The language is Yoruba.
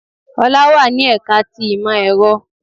Olá wà ní ẹ̀ka ti ìmọ̀ èro